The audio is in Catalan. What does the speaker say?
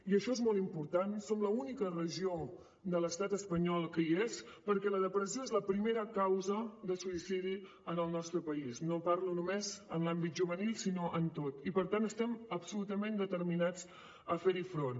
i això és molt important som l’única regió de l’estat espanyol que hi és perquè la depressió és la primera causa de suïcidi en el nostre país no parlo només en l’àmbit juvenil sinó en tot i per tant estem absolutament determinats a fer hi front